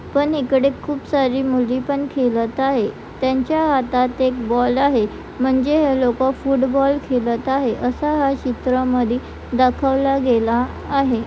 पण इकडे खूप सारे मुली पण खेळात आहे त्यांच्या हातात बॉल आहे म्हणजे हे लोक फुटबॉल खेळात आहे अशा ह्या चित्रा मध्ये दाखवलं गेलं आहे.